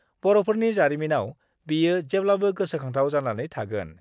बर'फोरनि जारिमिनाव बेयो जेब्लाबो गोसोखांजाथाव जानानै थागोन।